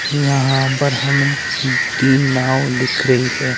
यहां पर हमें तीन नाव दिख रही है।